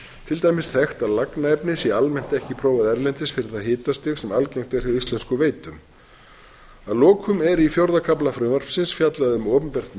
til dæmis þekkt að lagnaefni sé almennt ekki prófað erlendis fyrir það hitastig sem algengt er hjá íslenskum veitum að lokum er í fjórða kafla frumvarpsins fjallað um opinbert